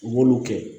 U b'olu kɛ